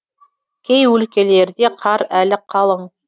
кей өлкелерде қар әлі қалың